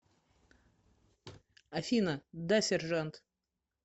афина да сержант